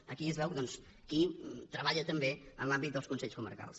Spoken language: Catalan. aquí es veu doncs qui treballa també en l’àmbit dels consells comarcals